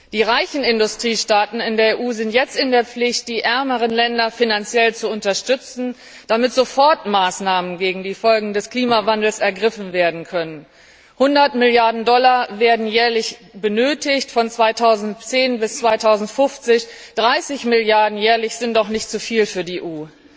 Die reichen Industriestaaten in der EU sind jetzt in der Pflicht, die ärmeren Länder finanziell zu unterstützen, damit Sofortmaßnahmen gegen die Folgen des Klimawandels ergriffen werden können. 100 Milliarden Dollar werden von 2010 bis 2050 jährlich benötigt, 30 Milliarden jährlich sind doch nicht zuviel für die EU.